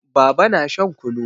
Baba na shan kunu.